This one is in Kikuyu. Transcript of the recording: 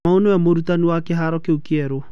Kamau nĩwe mũrũtani wa kĩharo kĩu kĩerũ.